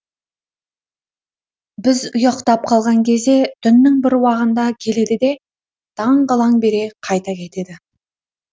біз ұйықтап қалған кезде түннің бір уағында келеді де таң қылаң бере қайта кетеді